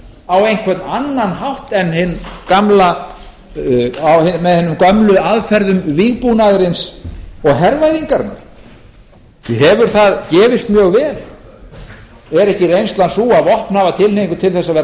á einhvern annan hátt með hinum gömlu aðferðum vígbúnaðarins og hervæðingarinnar hefur það gefist mjög vel er ekki reynslan sú að hafa vopnaða tilhneigingu til að verða